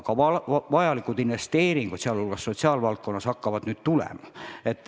Ka vajalikud investeeringud, sh sotsiaalvaldkonda, hakkavad tulema.